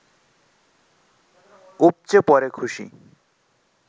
উপচে পড়ে খুশি